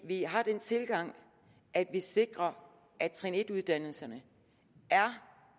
vi har den tilgang at vi sikrer at trin en uddannelserne er